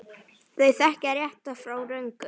Þau þekkja rétt frá röngu.